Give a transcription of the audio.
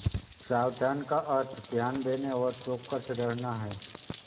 सावधान का अर्थ ध्यान देने और चौकस रहना है